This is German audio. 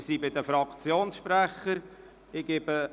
Wir sind bei den Fraktionssprechern angelangt.